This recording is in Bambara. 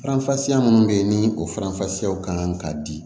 Faranfasiya minnu bɛ yen ni o faranfasiyaw kan ka di